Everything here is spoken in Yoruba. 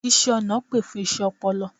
iṣẹ ọna pè fún iṣé ọpọlọ